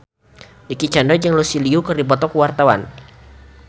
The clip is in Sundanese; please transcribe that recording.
Dicky Chandra jeung Lucy Liu keur dipoto ku wartawan